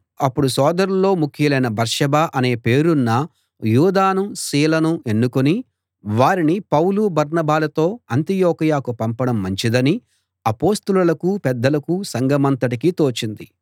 అప్పుడు సోదరుల్లో ముఖ్యులైన బర్సబ్బా అనే పేరున్న యూదానూ సీలనూ ఎన్నుకుని వారిని పౌలు బర్నబాలతో అంతియొకయ పంపడం మంచిదని అపొస్తలులకూ పెద్దలకూ సంఘమంతటికీ తోచింది